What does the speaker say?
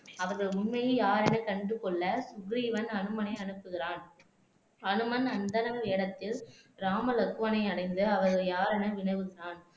அவர்கள் உண்மையில் யார் என கண்டுகொள்ள சுக்ரீவன் அனுமனை அனுப்புகிறான் அனுமன் அந்தனர் வேடத்தில் ராம லக்வனை அடைந்து அவர்கள் யாரென வினவுகிறான்